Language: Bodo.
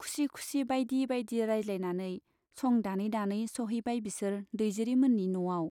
खुसि खुसि बाइदि बाइदि रायज्लायनानै सं दानै दानै सौहैबाय बिसोर दैजिरि मोननि न'आव।